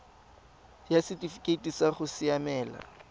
ya setifikeite sa go siamela